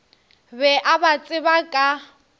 be a ba tseba ka